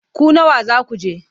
Ku nawa za ku je?